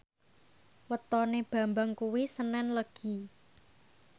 wetone Bambang kuwi senen Legi